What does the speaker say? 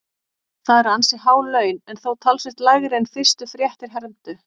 Það eru ansi há laun en þó talsvert lægri en fyrstu fréttir hermdu.